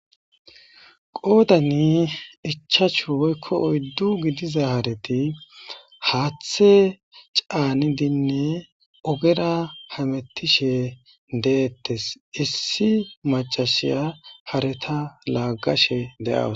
Goodani ichachu woykko oyddu gidiza hareti haathe caanidinne ogera hamettishe deettes issi macashiya hareta laaggashe deaws.